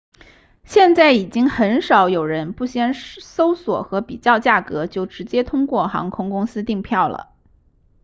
现在已经很少有人不先搜索和比较价格就直接通过航空公司订票了